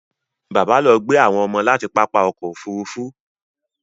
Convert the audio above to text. Bàbá lọ gbé àwọn ọmọ láti pápá ọkọ̀ Òfurufú